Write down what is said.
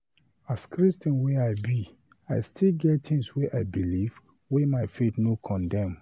As Christian wey I be, I still get tins wey I belif wey my faith no condem